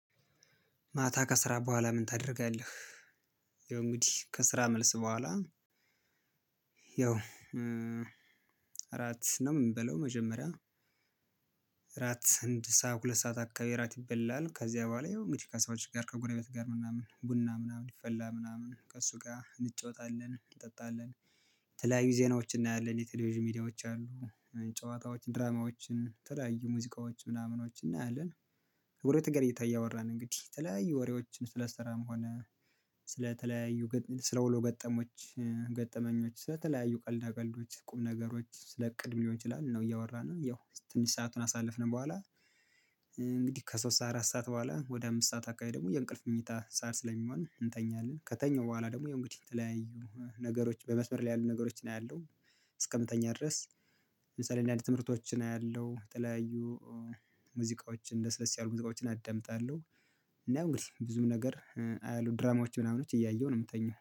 ማታ ከስራ በኋላ ምን ታደርጋለህ? ይሄ እንግዲህ ከስራ መልስ በኋላ ያው እራት ነው የምንበለው መጀመሪያ እራት አንድ ሰዓት ሁለት ሰዓት አካባቢ ራት ይበላል። ከዚያ በኋላ ይኸው እንግዲህ ከሰዎች ጋር ከጎረቤት ጋር ምናምን ቡና ምናምን ይፈላል ምናምን ከእሱ ጋር እንጫወታለን፤ እንጠጣለን፤ የተለያዩ ዜናዎችን እናያለን። የቴሌቪዥን ሚዲያዎች አሉ። ጨዋታዎችን ድራማዎችን የተለያዩ ሙዚቃዎች ምናምኖችን እናያለን። ከጎረቤት ጋር እያወራን እንግዲህ የተለያዩ ወሬዎችን ስለስራም ሆነ ስለ ውሎ ገጠሞች ገጠመኞች ስለተለያዩ ቀልዳ ቀልዶች ቁምነገሮች ስለ እቅድ ሊሆን ይችላል ነው እያወራን ያው ትንሽ ሰአቱን ካሳለፍን በኋላ እንግዲህ ከሶስት አራት ሰዓት በኋላ ወደ አምስት ሰዓት አካባቢ ደግሞ የእንቅልፍ መኝታ ሰዓት ስለሚሆን እንተኛለን። ከተኛው በኋላ ደግሞ የእንግዲህ ተለያዩ ነገሮች በመስመር ላይ ያሉ ነገሮችን አያለሁ። እስክንተኛ ድረስ ለምሳሌ ትምህርቶችን አያለሁ። የተለያዩ ሙዚቃዎችን ለስለስ ያሉ ሙዚቃዎችን አዳምጣለሁ። እና ያው እንግዲህ ብዙም ነገር አያለሁ። ድራማዎች ምናምኖች እያየሁ ነው የምተኛው።